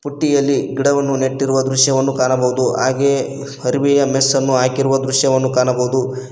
ಬುಟ್ಟಿಯಲ್ಲಿ ಗಿಡವನ್ನು ನೆಟ್ಟಿರುವ ದೃಶ್ಯವನ್ನು ಕಾಣಬಹುದು ಹಾಗೆಯೇ ಅರವಿಯ ಮೆಸ್ ಅನ್ನು ಹಾಕಿರುವ ದೃಶ್ಯವನ್ನು ಕಾಣಬಹುದು.